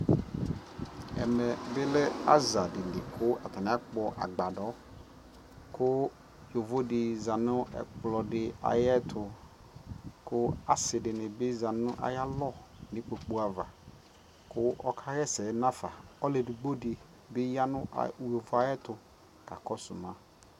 ɛmɛ bi lɛ aza dili kʋ atani akpɔ agbadɔ kʋ yɔvɔ di zanʋ ɔlɔdi ayɛtʋ kʋ asii dini bi zanʋ ayialɔ nʋ ikpɔkʋ aɣa kʋ ɔkayɛsɛ nʋ aƒa kʋ alʋ ɛdigbɔ di yanʋ yɔvɔɛ ayɛtʋ kakɔsʋ ma